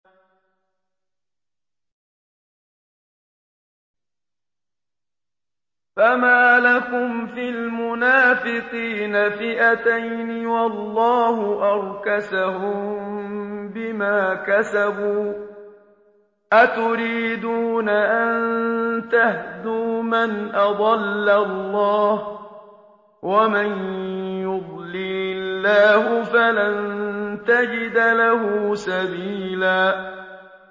۞ فَمَا لَكُمْ فِي الْمُنَافِقِينَ فِئَتَيْنِ وَاللَّهُ أَرْكَسَهُم بِمَا كَسَبُوا ۚ أَتُرِيدُونَ أَن تَهْدُوا مَنْ أَضَلَّ اللَّهُ ۖ وَمَن يُضْلِلِ اللَّهُ فَلَن تَجِدَ لَهُ سَبِيلًا